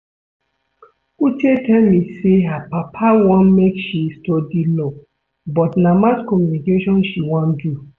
Uche tell me say her papa want make she study law but na mass communication she wan do